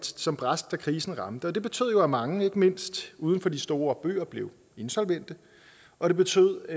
som brast da krisen ramte det betød at mange ikke mindst uden for de store byer blev insolvente og det betød